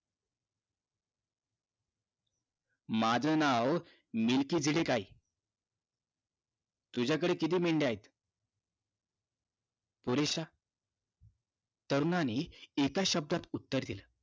माझं नाव तुझ्याकडे किती मेंढया आहेत पुरेश्या तरुणाने एका शब्दात दिल